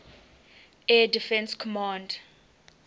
air defense command